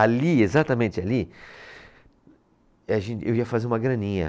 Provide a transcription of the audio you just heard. Ali, exatamente ali, a gente, eu ia fazer uma graninha.